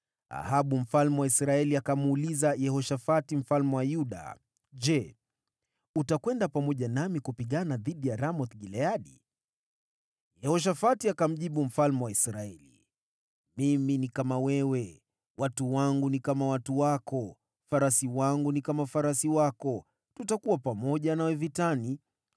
Ahabu mfalme wa Israeli akamuuliza Yehoshafati mfalme wa Yuda, “Je, utakwenda pamoja nami kupigana dhidi ya Ramoth-Gileadi?” Yehoshafati akamjibu mfalme wa Israeli, “Mimi ni kama wewe, watu wangu ni kama watu wako, farasi wangu ni kama farasi wako. Tutakuwa pamoja nawe vitani.”